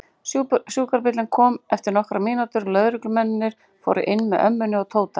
Sjúkrabíllinn kom eftir nokkrar mínútur og lögreglumennirnir fóru inn með ömmunni og Tóta.